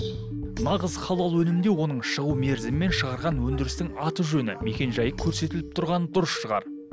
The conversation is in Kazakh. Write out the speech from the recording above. нағыз халал өнімде оның шығу мерзімі мен шығарған өндірістің аты жөні мекенжайы көрсетіліп тұрғаны дұрыс шығар